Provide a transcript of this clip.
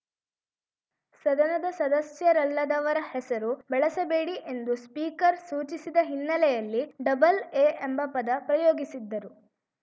ಸದನದ ಸದಸ್ಯರಲ್ಲದವರ ಹೆಸರು ಬಳಸಬೇಡಿ ಎಂದು ಸ್ಪೀಕರ್‌ ಸೂಚಿಸಿದ ಹಿನ್ನೆಲೆಯಲ್ಲಿ ಡಬಲ್‌ ಎ ಎಂಬ ಪದ ಪ್ರಯೋಗಿಸಿದ್ದರು